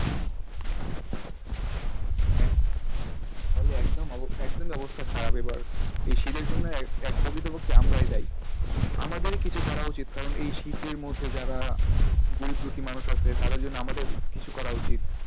হ্যাঁ, হ্যাঁ তাহলে একদমই অব একদমই অবস্থা খারাপ এবার এই শীতের জন্য এক প্রকৃতপক্ষে আমরাই দায়ী আমাদেরই কিছু করা উচিত কারণ এই শীতের মধ্যে যারা গরিব দুঃখী মানুষ আছে তাদের জন্য আমাদের কিছু করা উচিত।